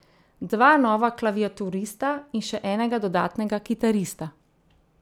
Dva nova klaviaturista in še enega dodatnega kitarista.